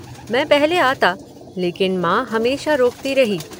मैं पहले आता, लेकिन माँ हमेशा रोकती रही।